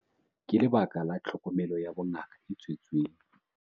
Ka lebaka la tlhokomelo ya bongaka e tswetseng